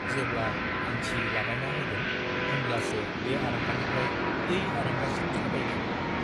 जेब्ला आंथि लागायना होगोन होनब्लासो बे आरांगानिफ्राइ बै आरांगासिम थाबायगोन।